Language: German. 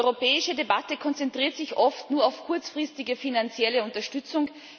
Die europäische Debatte konzentriert sich oft nur auf kurzfristige finanzielle Unterstützung.